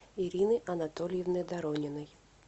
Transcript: ирины анатольевны дорониной